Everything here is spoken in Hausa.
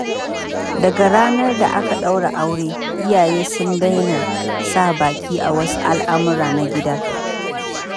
Daga ranar da aka daura aure, iyaye sun daina sa baki a wasu al’amura na gida.